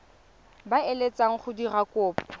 ba eletsang go dira kopo